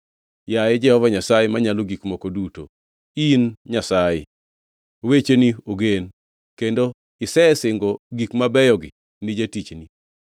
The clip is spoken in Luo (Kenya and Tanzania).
Yaye Jehova Nyasaye Manyalo Gik Moko Duto, in Nyasaye! Wecheni ogen, kendo isesingo gik mabeyogi ni jatichni.